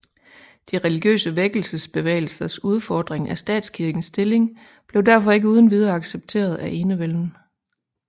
De religiøse vækkelsesbevægelsers udfordring af statskirkens stilling blev derfor ikke uden videre accepteret af enevælden